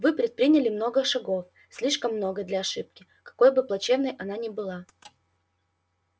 вы предприняли много шагов слишком много для ошибки какой бы плачевной она ни была